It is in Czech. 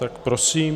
Tak prosím.